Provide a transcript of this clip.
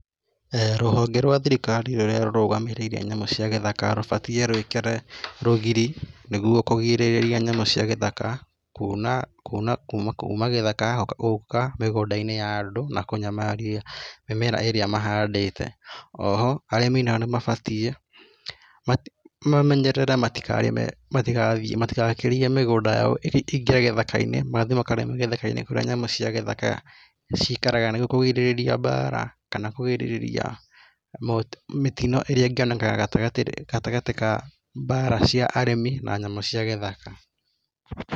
Rũhonge rwa thirikari rũrĩa rũrũgamĩrĩire nyamũ cia gĩthaka rũbatie rwĩkĩre rũgiri nĩguo kũgirĩrĩria nyamũ cia gĩthaka kuna kuna kuma gĩthĩka gũka mĩgũnda-inĩ ya andũ na kũnyamaria mĩmera ĩrĩa mahandĩte o ho arĩmi nao nĩmabatie mamenyerere marikarĩme matigathiĩ, matigakĩrie mĩgũnda yao ĩingĩre gĩthaka-inĩ kũrĩa nyamũ cia gĩthaka cikaraga nĩguo kũgirĩrĩria mbara kana kũrigĩrĩria mĩtino ĩrĩa ingĩoneka gatagatĩ gatagatĩ ga mbara cia arĩmi na nyamũ cia gĩthaka.